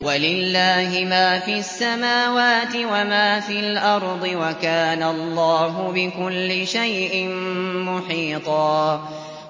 وَلِلَّهِ مَا فِي السَّمَاوَاتِ وَمَا فِي الْأَرْضِ ۚ وَكَانَ اللَّهُ بِكُلِّ شَيْءٍ مُّحِيطًا